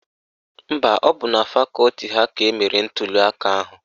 Mba, ọ bụ na fakọti ha ka emere ntuliaka ahụ